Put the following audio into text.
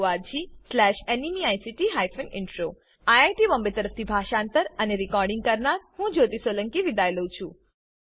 httpspoken tutorialorgNMEICT Intro IIT Bombay તરફથી હું જ્યોતી સોલંકી વિદાય લઉં છું